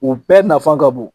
U bɛɛ nafa ka bon.